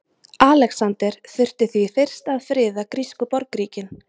Alexander þurfti því fyrst að friða grísku borgríkin.